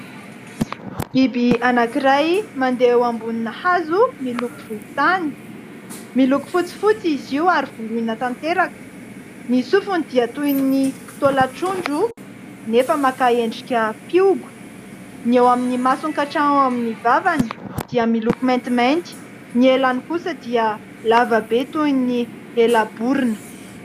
Biby anankiray mandeha eo ambonina hazo miloko volontany, miloko fotsifotsy izy io ary voloina tanteraka, ny sofony dia toy ny tolan-trondro nefa maka endrika fihogo, ny eo amin'ny masony ka hatreo amin'ny vavany dia miloko mantimainty, ny helany kosa dia lava be toy ny ela-borona.